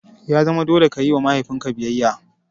Ya zama dole ka yi wa mahaifin ka biyayya!